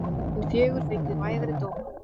Hin fjögur fengu vægari dóma.